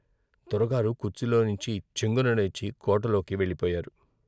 దొరగారు కుర్చీలో నుంచి చెంగున లేచి కోటలోకి వెళ్ళిపోయారు.